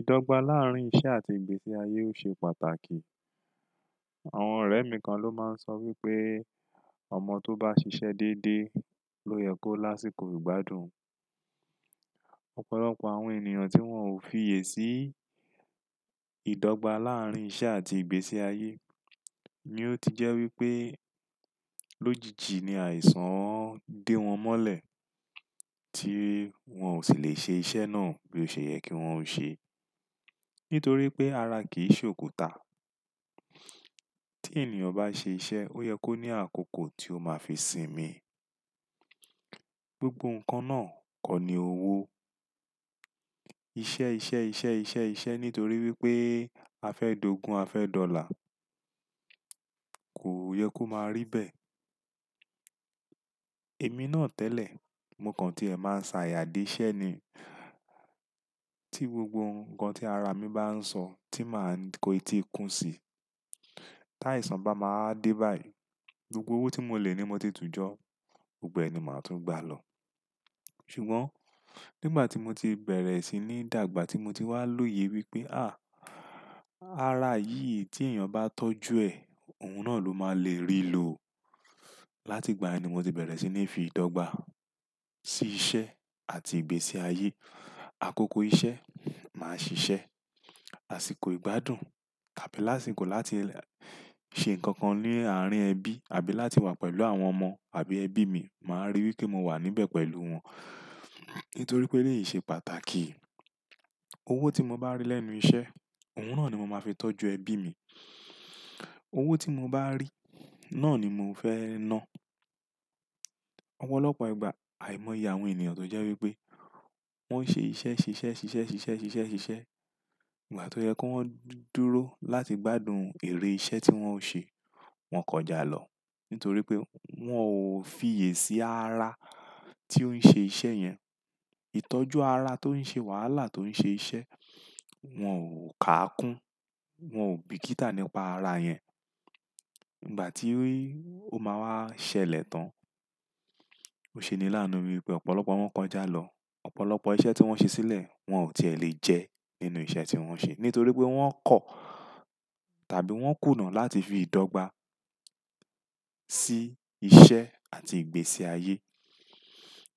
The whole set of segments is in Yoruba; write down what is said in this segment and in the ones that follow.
Ìdọ́gba láàárín iṣẹ́ àti ìgbésí ayé ò ṣe pàtàkì. Àwọn ọ̀rẹ́ mi kan ló máa ń sọ wípé ọmọ tó bá ṣiṣẹ́ dédé ló yẹ kó lásìkò ìgbádùn. Ọ̀pọ̀lọpọ̀ àwọn ènìyàn tí wón ò fi iyè sì ìdọ́gba láàárín iṣẹ́ àti ìgbésí ayé ni ó ti jẹ́ wípé lójijì ni àìsàn dẹ wọn mọ́lẹ̀ tí wón ò sì le ṣe iṣẹ́ náà bí ó ṣe yẹ kí wón ó ṣe. Nítorí pé ara kì í ṣe òkúta. Tí ènìyàn bá ṣe iṣẹ́, ó yẹ kó ní àkókò tí ó máa fi sinmi. Gbogbo nǹkan náà kọ́ ni owó. Iṣẹ́, iṣẹ́, iṣẹ́, iṣẹ́, iṣẹ́ nítorí wípé a fẹ́ dogún, a fẹ́ dọlà. Kò yẹ kó máa rí bẹ́ẹ̀. Èmi náà tẹ́lẹ̀, mo kàn tí ẹ̀ máa ń ṣàyà d'eṣẹ́ ni. Tí gbogbo nǹkan tí ara mi bá ń sọ tí máa ń kó i tí ikún sí. Tái san bá máa dé báyìí, gbogbo owó tí mo lè ní mo ti tú jọ́, gbogbo ẹ̀ ni màá tún gba lọ. Ṣùgbọ́n nígbà tí mo ti bẹ̀rẹ̀ sí ní dàgbà tí mo ti wá lóye wípé, "à, ara yìí tí èeyàn bá tọ́jú ẹ̀, òun náà ló máa le rí ló." Látìgbà yen ni mo ti bẹ̀rẹ̀ sí ní fi ìdọ́gba sí iṣẹ́ àti ìgbésí ayé. Àkókò iṣẹ́, màá ṣiṣẹ́. Àsìkò ìgbádùn tàbí lásìkò láti ṣe nǹkan kan ní àárín ẹbí àbí láti wà pẹ̀lú àwọn ọmọ àbí ẹbí mi, màá rí wípé mo wà níbẹ̀ pẹ̀lú wọn. Nítorí pé èleyí ṣe pàtàkì. Owó tí mo bá rí lẹ́nu iṣẹ́, òun náà ni mo máa fi tọ́jú ẹbí mi. Owó tí mo bá rí, náà ni mò ń fẹ́ ná. Ọ̀pọ̀lọpọ̀ ìgbà, àìmọ̀ ìye àwọn ènìyàn tó jẹ́ wípé wón ṣe iṣẹ́, ṣe iṣẹ́, ṣe iṣẹ́, ṣe iṣẹ́, ṣe iṣẹ́, ṣe iṣẹ́. Ìgbà tí ó yẹ kó wọ́n dúró láti gbádùn èrè iṣẹ́ tí wón ó ṣe, wón kọjá lọ. Nítorí pé wón ò fi iyè sì ara tí ó ń ṣe iṣẹ́ yẹn, ìtọ́jú ara tó ń ṣe wàhálà tó ń ṣe iṣẹ́, wón ò káá kún, wón ò bìkítà nípa ara yẹn. Ìgbà tí ó máa wá ṣẹlẹ̀ tán, ó ṣe ni láàánú wípé ọ̀pọ̀lọpọ̀ wọn kọjá lọ. Ọ̀pọ̀lọpọ̀ iṣẹ́ tí wón ṣe sílẹ̀, wón ò tí è lè jẹ́ nínú iṣẹ́ tí wón ṣe. Nítorí pé wón kọ̀ tàbí wón kùnà láti fi ìdọ́gba sí iṣẹ́ àti ìgbésí ayé.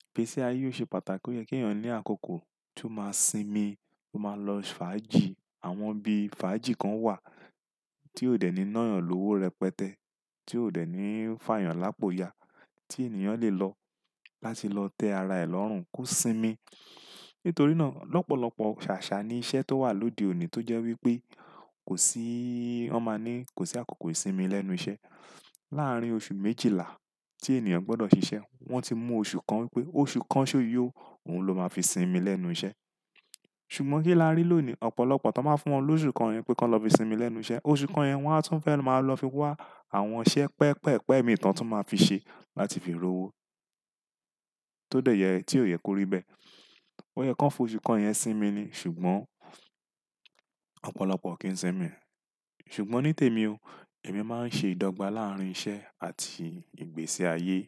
Ìgbésí ayé ò ṣe pàtàkì, ó yẹ kí ènìyàn ní àkókò tí ó máa sinmi, ó máa lọ fàájì àwọn ibi fàájì kan wà tí ó dẹ̀ ní ná èeyàn lówó rẹpẹtẹ, tí ó dẹ̀ ní fà èeyàn lápòóya, tí ènìyàn lè lọ láti lọ tẹ́ ara ẹ̀ lọ́rùn kó sinmi. Nítorí náà lọ́pọ̀lọpọ̀ ṣàṣà ni iṣẹ́ tó wà lóde òní tó jẹ́ wípé kò sí, wón máa ní kò sí àkókò ìsinmi lẹ́nu iṣẹ́. Láàárín oṣù méjìlá tí ènìyàn gbọdọ̀ ṣiṣẹ́, wón ti mú oṣù kan wípé oṣù kan ṣó yó, òun ló máa fi sinmi lẹ́nu iṣẹ́. Ṣùgbọ́n kí làá rí lónìí ọ̀pọ̀lọpọ̀ tó máa fún wọn lóṣù kan yẹn pé kí wón lọ fi sinmi lẹ́nu iṣẹ́. Oṣù kan yẹn wón á tún fẹ́ máa lọ fi wá àwọn iṣẹ́ pẹ pẹ́ pẹ́ mìí tàn tí wón máa fi ṣe láti fi rówó. Tó dẹ̀ yẹ tí ó yẹ kó rí bẹ́ẹ̀. Ó yẹ kó fún oṣù kan yẹn sinmi ni ṣùgbọ́n ọ̀pọ̀lọpọ̀ kì í sinmi. Ṣùgbọ́n ní tèmi o, èmi máa ń ṣe ìdọ́gba láàárín iṣẹ́ àti ìgbésí ayé.